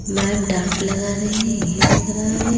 Ma'am डांट लगा रही है ये दिख रहा है।